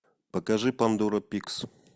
покажи пандора пикс